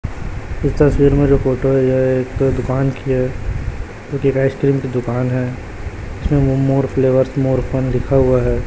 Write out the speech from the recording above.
इस तस्वीर में जो फोटो है यह एक दुकान की है आइसक्रीम की दुकान है इसमें मोर फ्लेवरस मोर फन लिखा हुआ है।